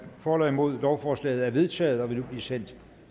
for eller imod lovforslaget er vedtaget og vil nu blive sendt